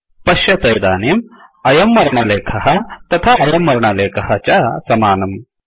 पश्यत इदानीम् अयं वर्णलेखः तथा अयं वर्णलेखः च समानम्